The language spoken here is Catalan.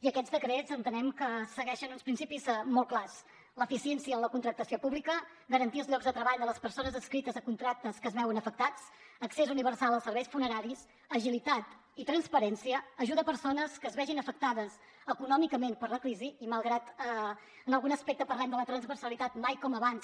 i aquests decrets entenem que segueixen uns principis molt clars l’eficiència en la contractació pública garantir els llocs de treball de les persones adscrites a contractes que es veuen afectats accés universal als serveis funeraris agilitat i transparència ajuda a persones que es vegin afectades econòmicament per la crisi i malgrat que en algun aspecte parlem de la transversalitat mai com abans